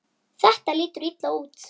Þetta lítur illa út.